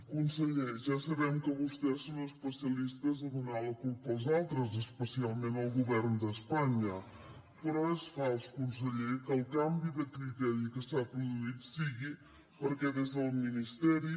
conseller ja sabem que vostès són especialistes a donar la culpa als altres especialment al govern d’espanya però és fals conseller que el canvi de criteri que s’ha produït sigui perquè des del ministeri